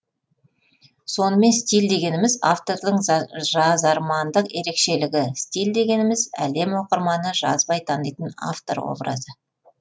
сонымен стиль дегеніміз автордың жазармандық ерекшелігі стиль дегеніміз әлем оқырманы жазбай танитын автор образы